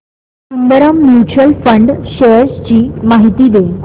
Sundaram mutual fund shares ची माहिती दे